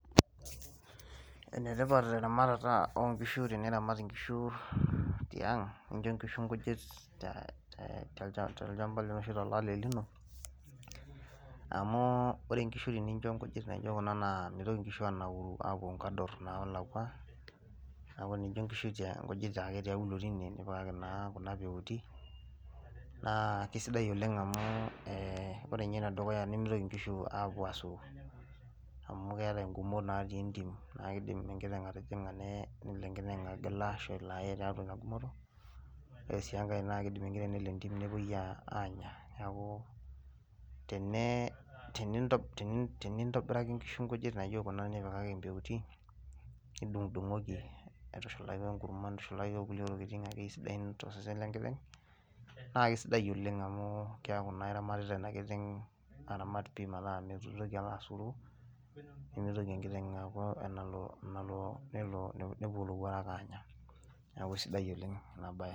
enetipat eramatata oo nkishu teniramat inkishu tiang, nincho nkishu nkujit tolchampa lino ashu tolale lino. amuu ore nkishu tenincho nkujit naijo kuna na mitoki nkishu anauru apuo nkador naalakua. neeku tenincho nkishu nkujit ake tialo tine, nipikaki naa kuna peuti, naa kisidai oleng amu, ee ore ninye ene dukuya nimitoki, nkishu apuo asulari. amu keetae igumot natii entim, naa kidim enkiteng atijinga neye, kidim enkiteng atijing'a negila ashu elo aye. ore sii enkae kidim enkiteng ashoo nepuoi aanya, neeku, tenintobiraki nkishu nkujit naijo kuna, nipikaki impeutin, nidungudungoki ashu intushulaki enkurma. nintushulaki kulie tokitin akeyie sidain tosesen lenkiteng'.naa kisidai oleng amu keeku naa iramatita ena kiteng' aramat oleng amu keeku naa iramatitat enna kiteng aramat pii mitoki alo asuru. nemitoki enkiteng alo nepuo ilowuarak aanya neeku kisidiai oleng ena bae.